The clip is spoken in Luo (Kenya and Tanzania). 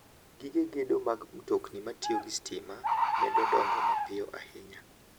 Gige gedo mag mtokni matiyo gi stima medo dongo mapiyo ahinya.